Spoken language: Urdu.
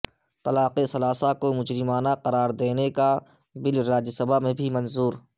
طلاق ثلاثہ کو مجرمانہ قرار دینے کا بل راجیہ سبھا میں بھی منظور